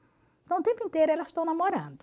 Então o tempo inteiro elas estão namorando.